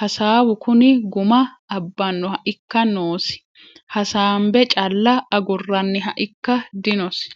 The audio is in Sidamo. hasaawu kuni guma abbanoha ikka noosi hasaambe calla aguraniha ikka dinosi.